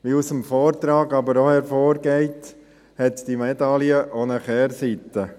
Wie aus dem Vortrag aber auch hervorgeht, hat die Medaille auch eine Kehrseite: